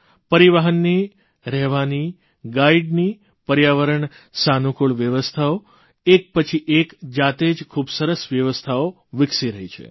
પરિવહનની રહેવાની ગાઇડની પર્યાવરણ સાનૂકુળ વ્યવસ્થાઓ એક પછી એક જાતે જ ખૂબ સરસ વ્યવસ્થાઓ વિકસી રહી છે